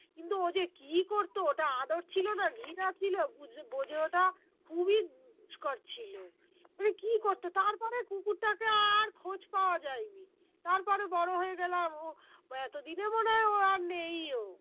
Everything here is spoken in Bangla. কিন্তু ও যে কি করতো ওটা আদর ছিল না ঘৃণা ছিল বুঝতে বোঝে ওঠা খুবই দুস্কর ছিল মানে কি করতো তারপরে কুকুরটাকে আর খোঁজ পাওয়া যায়নি তারপরে বড়ো হয়ে গেলাম ও বা এতদিনে মনে হয় ও আর নেইও